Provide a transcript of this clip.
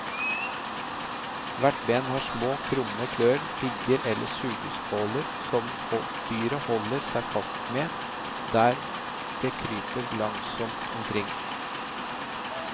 Hvert ben har små, krumme klør, pigger eller sugeskåler som dyret holder seg fast med der det kryper langsomt omkring.